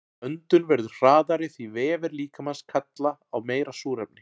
Öndun verður hraðari því vefir líkamans kalla á meira súrefni.